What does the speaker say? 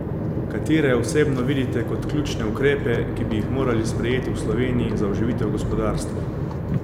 Katere osebno vidite kot ključne ukrepe, ki bi jih morali sprejeti v Sloveniji za oživitev gospodarstva?